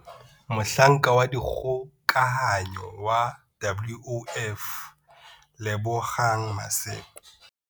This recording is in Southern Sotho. Mohlanka wa dikgokahanyo wa WOF Lebogang Maseko.